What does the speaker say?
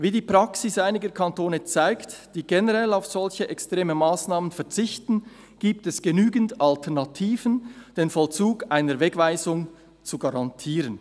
Wie die Praxis einiger Kantone zeigt, die generell auf solch extreme Massnahmen verzichten, gibt es genügend Alternativen, den Vollzug einer Wegweisung zu garantieren.